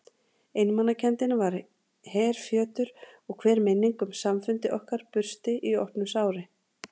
Einmanakenndin var herfjötur og hver minning um samfundi okkar bursti í opnu sári.